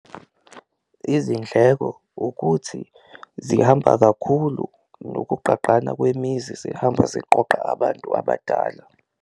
Izindleko ukuthi zihamba kakhulu nokugqagqana kwemizi zihamba ziqoqa abantu abadala.